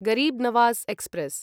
Garib Nawaz express